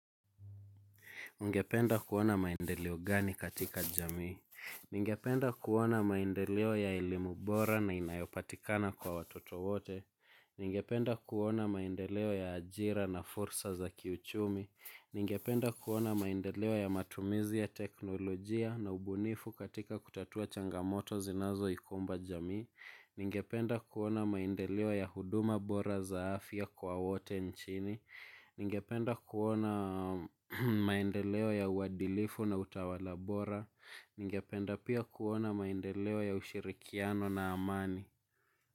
Ungependa kuona maendeleo gani katika jamii ningependa kuona maendeleo ya elimu bora na inayopatikana kwa watoto wote. Ningependa kuona maendeleo ya ajira na fursa za kiuchumi. Ningependa kuona maendeleo ya matumizi ya teknolojia na ubunifu katika kutatua changamoto zinazoikumba jamii. Ningependa kuona maendeleo ya huduma bora za afya kwa wote nchini. Ningependa kuona maendeleo ya uadilifu na utawala bora ningependa pia kuona maendeleo ya ushirikiano na amani.